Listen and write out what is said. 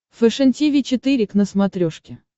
фэшен тиви четыре к на смотрешке